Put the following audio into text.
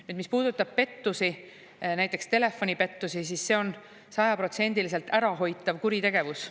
Nüüd, mis puudutab pettusi, näiteks telefonipettusi, siis see on sajaprotsendiliselt ärahoitav kuritegevus.